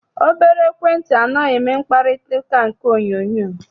Obere ekwentị anaghị eme mkparịtaụka nke onyoonyoo